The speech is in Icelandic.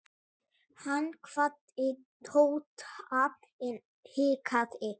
Hann kvaddi Tóta en hikaði.